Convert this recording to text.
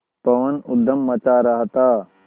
पवन ऊधम मचा रहा था